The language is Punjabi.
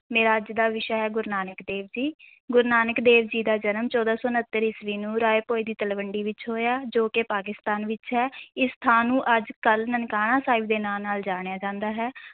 ਮੇਰਾ ਅੱਜ ਦਾ ਵਿਸ਼ਾ ਹੈ ਗੁਰੂ ਨਾਨਕ ਦੇਵ ਜੀ ਗੁਰੂ ਨਾਨਕ ਦੇਵ ਜੀ ਦਾ ਜਨਮ ਚੌਦਾਂ ਸੌ ਉਣੱਤਰ ਈਸਵੀ ਨੂੰ ਰਾਏ ਭੋਇ ਦੀ ਤਲਵੰਡੀ ਵਿੱਚ ਹੋਇਆ ਜੋ ਕਿ ਪਾਕਿਸਤਾਨ ਵਿੱਚ ਹੈ, ਇਸ ਥਾਂ ਨੂੰ ਅੱਜ ਕੱਲ੍ਹ ਨਨਕਾਣਾ ਸਾਹਿਬ ਦੇ ਨਾਂ ਨਾਲ ਜਾਣਿਆ ਜਾਂਦਾ ਹੈ।